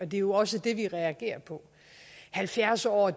det er jo også det vi reagerer på halvfjerds år